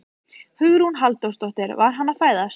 Hugrún Halldórsdóttir: Var hann að fæðast?